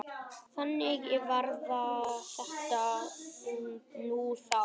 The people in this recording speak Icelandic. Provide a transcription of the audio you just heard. Þannig var þetta nú þá.